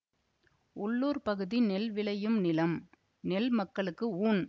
உள்ளூர் பகுதி நெல் விளையும் நிலம் நெல் மக்களுக்கு ஊண்